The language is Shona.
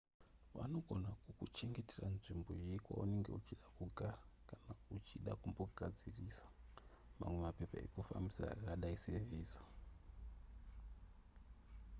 vanogona kukuchengetera nzvimbo yekwaunenge uchida kugara kana uchida kumbogadzisisa mamwe mapepa ekufambisa akadai sevhiza